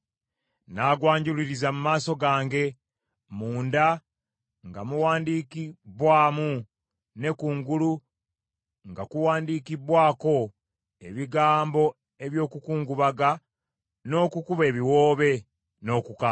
N’agwanjuluriza mu maaso gange, munda nga muwandiikibbwamu ne kungulu nga kuwandiikibbwako ebigambo eby’okukungubaga n’okukuba ebiwoobe, n’okukaaba.